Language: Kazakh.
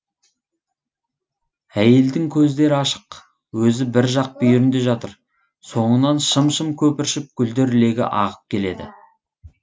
әйелдің көздері ашық өзі бір жақ бүйірінде жатыр соңынан шым шым көпіршіп гүлдер легі ағып келеді